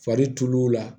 Fari tul'u la